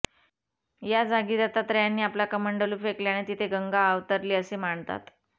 या जागी दत्तात्रेयांनी आपला कमंडलू फेकल्याने तिथे गंगा अवतरली असे मानतात